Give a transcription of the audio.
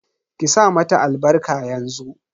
Ki sa mata albarka yanzu.